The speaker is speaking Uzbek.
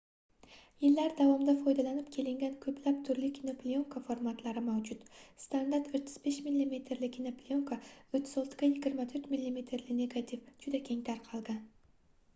yillar davomida foydalanib kelingan ko'plab turli kinoplyonka formatlari mavjud. standart 35 mm li kinoplyonka 36 ga 24 mm li negativ juda keng tarqalgan